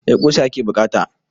Eh ƙusa yake buƙata.